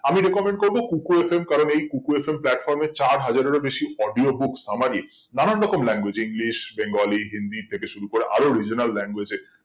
আমি recommended করবো kuku FM কারণ এই kuku FM platform এর চার হাজারেরও বেশি audio book summary নানান রকম language english bengali hindi থেকে শুরু করে আরও regional language এ